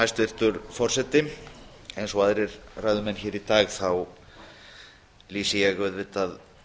hæstvirtur forseti eins og aðrir ræðumenn hér í dag þá lýsti ég auðvitað